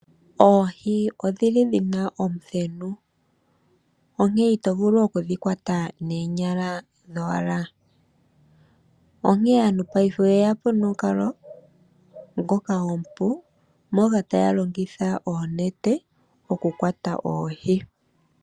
Oohi odhili dhina omuthenu. Onkene ito vulu okudhi kwata noonyala dhowala. Onkene aantu ngashingeyi oyeya po nomukalo ngoka omupu moka taya longitha oonete okukwata oohi.